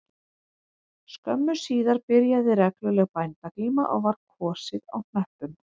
Skömmu síðar byrjaði regluleg bændaglíma og var kosið á hnöppum